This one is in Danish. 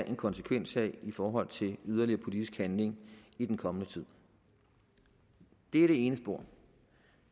en konsekvens af i forhold til yderligere politisk handling i den kommende tid det er det ene spor